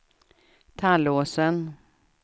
Tallåsen